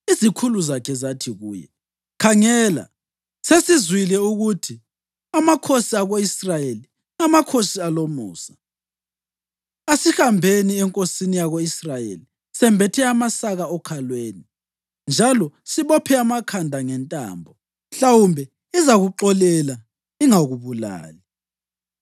Izikhulu zakhe zathi kuye, “Khangela, sesizwile ukuthi amakhosi ako-Israyeli ngamakhosi alomusa. Asihambeni enkosini yako-Israyeli sembethe amasaka okhalweni njalo sibophe amakhanda ngentambo. Mhlawumbe izakuxolela ingakubulali.”